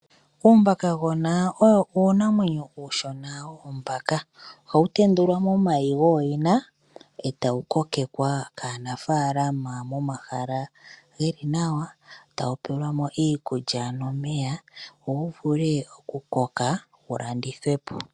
Uumakagona owo uunamwenyo uushona woombaka. Ohawu tendulwa momayi gooyina e ta wu kokekwa kaanafalama momahala ge li nawa, tawu pelwa mo iikulya nomeya. Opo wu vule okukoka wu landithwe po.